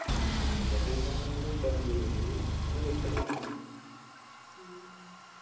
നല്ല team ന്ന് പറഞ്ഞാല് മികച്ച team ആണ്.